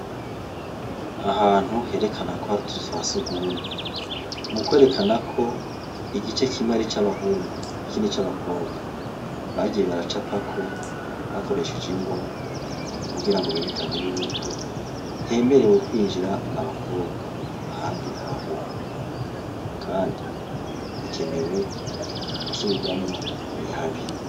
Ahantu herekana ko haritutswa sugumu mukwerekanako igice kimwe ari c'abahungu ikindi c'abakobwa bagiye baraca pako bakoresheje ingwa mu kugira ngo berekane yuko hemerewe kwinjira abakobwa ahandi abahungu andi hakenewe gusubirwamwo ni habi.